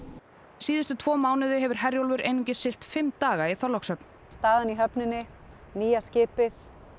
síðustu tvo mánuði hefur Herjólfur einungis siglt fimm daga í Þorlákshöfn staðan í höfninni nýja skipið